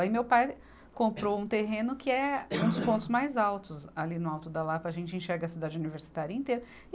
Aí meu pai comprou um terreno que é um dos pontos mais altos, ali no alto da Lapa, a gente enxerga a cidade universitária inteira.